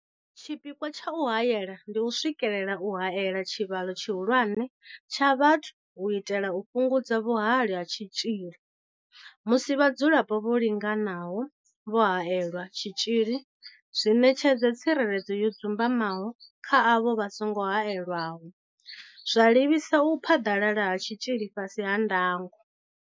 Tshipikwa tsha u haela ndi u swikelela u haela tshivhalo tshihulwane tsha vhathu u itela u fhungudza vhuhali ha tshitzhili musi vhadzulapo vho linganaho vho haelelwa tshitzhili zwi ṋetshedza tsireledzo yo dzumbamaho kha avho vha songo haelwaho, zwa livhisa u phaḓalala ha tshitzhili fhasi ha ndango.